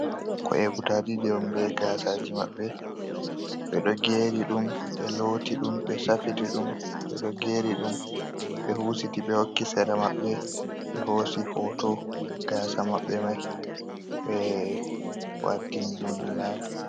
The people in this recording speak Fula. Ko'e gudu ɗiɗi on be gasaji maɓɓe, ɓeɗo geri ɗum, ɓe looti ɗum, ɓe safiti ɗum, ɓeɗo geri ɗum, ɓe husiti ɓe hokki sera maɓɓe, ɓe hosi hoto gasa maɓɓe mai ɓe waltiini ɗum ɗo laɓi.